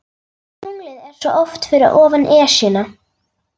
Tunglið er svo oft fyrir ofan Esjuna.